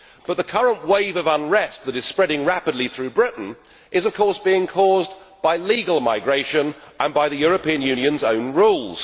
However, the current wave of unrest that is spreading rapidly through Britain is, of course, being caused by legal migration and by the European Union's own rules.